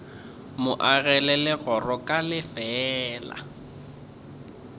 mo agela legora ka lefeela